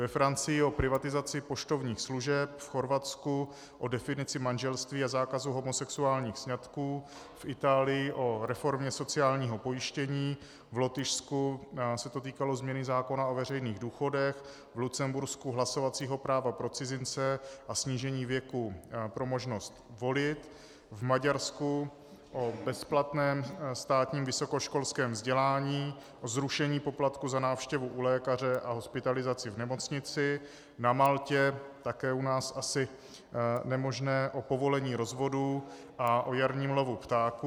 Ve Francii o privatizaci poštovních služeb, v Chorvatsku o definici manželství a zákazu homosexuálních sňatků, v Itálii o reformě sociálního pojištění, v Lotyšsku se to týkalo změny zákona o veřejných důchodech, v Lucembursku hlasovacího práva pro cizince a snížení věku pro možnost volit, v Maďarsku o bezplatném státním vysokoškolském vzdělání, o zrušení poplatku za návštěvu u lékaře a hospitalizaci v nemocnici, na Maltě - také u nás asi nemožné - o povolení rozvodu a o jarním lovu ptáků.